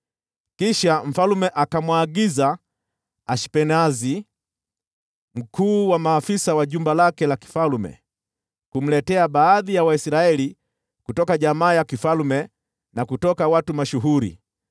Kisha mfalme akamwagiza Ashpenazi, mkuu wa maafisa wa mfalme, kumletea baadhi ya Waisraeli kutoka jamaa ya mfalme na kutoka jamaa kuu,